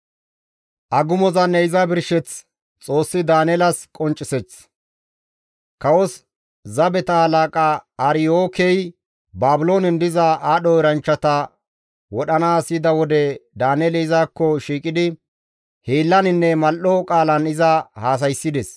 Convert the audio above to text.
Kawos zabeta halaqa Aryookey Baabiloonen diza aadho eranchchata wodhanaas yida wode Daaneeli izakko shiiqidi hiillaninne mal7o qaalan iza haasayssides.